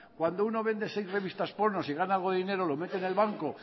cuando uno vende seis revistas porno si gana algo de dinero lo mete en el banco